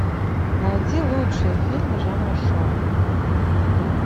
найди лучшие фильмы жанра шоу